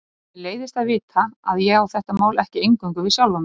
Mér leiðist að vita að ég á þetta mál ekki eingöngu við sjálfa mig.